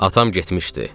Atam getmişdi.